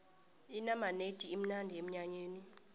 inamanedi imnandi emnyanyeni